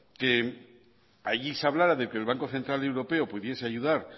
que allí se hablara de que el banco central europeo pudiese ayudar